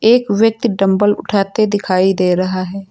एक व्यक्ति डम्बल उठाते दिखाई दे रहा है।